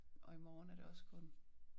Og i morgen er det også kun